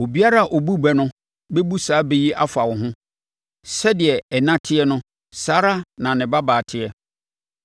“ ‘Obiara a ɔbu bɛ no bɛbu saa bɛ yi afa wo ho: “Sɛdeɛ ɛna teɛ no saa ara na ne babaa teɛ.”